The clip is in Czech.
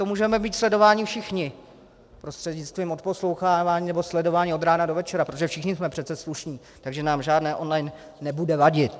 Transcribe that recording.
To můžeme být sledováni všichni prostřednictvím odposlouchávání nebo sledování od rána do večera, protože všichni jsme přece slušní, takže nám žádné on-line nebude vadit.